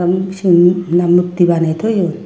u seyun na mukti banne toyon.